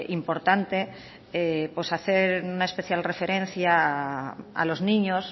importante hacer una especial referencia a los niños